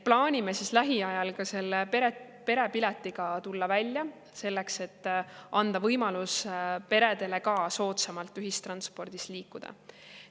Plaanime lähiajal selle perepiletiga välja tulla, selleks et anda võimalus ka peredele soodsamalt ühistranspordiga liikuda.